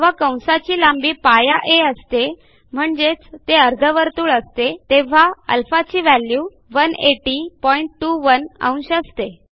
जेव्हा कंसाची लांबी π a असते म्हणजेच ते अर्धवर्तुळ असते तेव्हा α ची व्हॅल्यू 18021 अंश असते